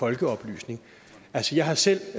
folkeoplysning jeg har selv